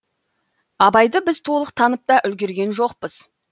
абайды біз толық танып та үлгерген жоқпыз